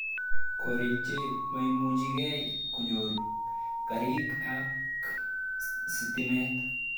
Korik che maimuchikei konyoru karik ak stimet